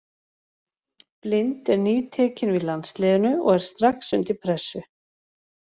Blind er nýtekinn við landsliðinu og er strax undir pressu.